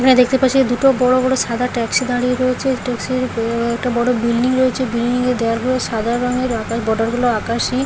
এখানে দেখতে পাচ্ছি দুটো বড় বড় সাদা ট্যাক্সি দাঁড়িয়ে রয়েছে এই ট্যাক্সির আ- একটা বড় বিল্ডিং রয়েছে বিল্ডিং এর দেওয়াল গুলো সাদা রঙের আর তার বর্ডার গুলো আকাশি ।